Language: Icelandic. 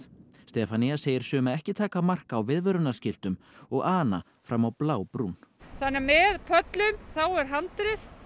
Stefanía segir suma ekki taka mark á viðvörunarskiltum og ana fram á blábrún þannig að með pöllum þá er handrið